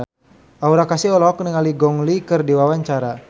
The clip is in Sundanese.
Aura Kasih olohok ningali Gong Li keur diwawancara